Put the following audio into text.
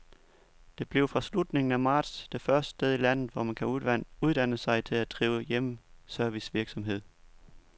Det bliver fra slutningen af marts det første sted i landet, hvor man kan uddanne sig til at drive hjemmeservicevirksomhed.